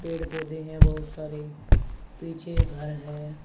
पेड़ पौधे हैं बहुत सारे पीछे घर है।